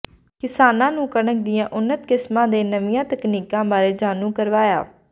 ਕਿਸਾਨਾਂ ਨੂੰ ਕਣਕ ਦੀਆਂ ਉੰਨਤ ਕਿਸਮਾਂ ਤੇ ਨਵੀਂਆਂ ਤਕਨੀਕਾਂ ਬਾਰੇ ਜਾਣੂ ਕਰਵਾਇਆ